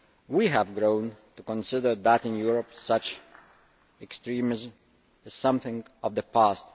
We have grown to consider that in Europe such extremism is something of the past.